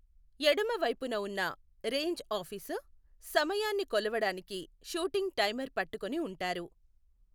ఎడమ వైపున ఉన్న రేంజ్ ఆఫీసర్, సమయాన్ని కొలవడానికి షూటింగ్ టైమర్ పట్టుకుని ఉంటారు .